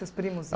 Seus primos